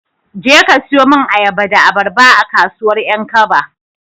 Jeka ka siyo min ayaba da abarba, a kasuwar 'Yankaba.